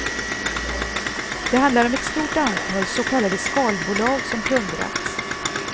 Det handlar om ett stort antal så kallade skalbolag som plundrats.